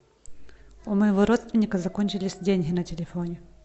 у моего родственника закончились деньги на телефоне